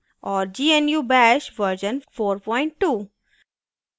और gnu bash version 42